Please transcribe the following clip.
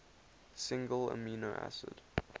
single amino acid